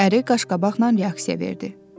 Əri qaşqabaqla reaksiya verdi.